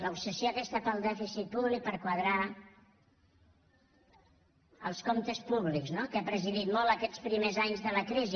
l’obsessió aquesta pel dèficit públic per quadrar els comptes públics no que ha presidit molt aquests primers anys de la crisi